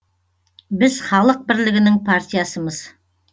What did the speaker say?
біз халық бірлігінің партиясымыз